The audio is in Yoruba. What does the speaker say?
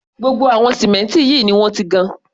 Gbogbo àwọn símẹ́ǹtì yìí ni wọ́n ti gan.